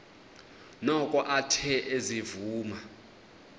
noko athe ezivuma